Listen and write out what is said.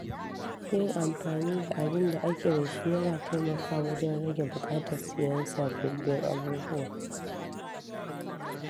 Yin amfani da abin da ake da shi yana taimakawa wajen rage buƙatar siyan sababbin abubuwa.